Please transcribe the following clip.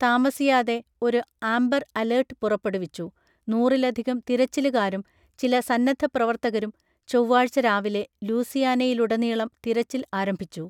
താമസിയാതെ ഒരു amber alert പുറപ്പെടുവിച്ചു, നൂറിലധികം തിരച്ചിലുകാരും, ചില സന്നദ്ധപ്രവർത്തകരും, ചൊവ്വാഴ്ച രാവിലെ ലൂസിയാനയിലുടനീളം തിരച്ചിൽ ആരംഭിച്ചു.